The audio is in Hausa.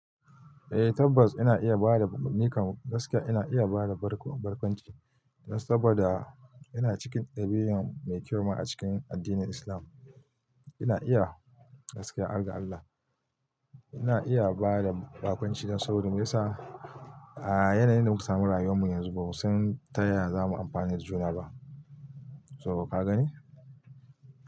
Eh tabbas ina iya bada, nikan gaskiya ina iya bada barkwancin saboda ina cikin ɗabi'u mai kyau a cikin addinin Islam. Ina iya gaskiya, harga Allah, ina iya bada barkwanci saboda me yasa a yanayin da muka samu rayuwar mu yanzu ba mu san taya za mu amfani da juna ba. So ka gani?